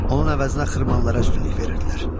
Onun əvəzinə xırmanlara üstünlük verirdilər.